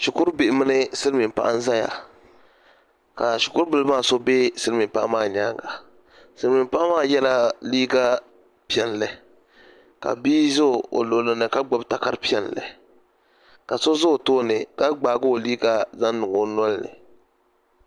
Shikuru bihi mini silmiin paɣa n ʒɛya ka zhikuru bihi maa so bɛ silmiin paɣa maa nyaanga silmiin paɣa maa yɛla liiga piɛlli ka bia ʒɛ o luɣulini ka gbubi ka gbubi takara piɛlli ka so ʒɛ o tooni ka gbaagi o liiga zaŋ niŋ o nolini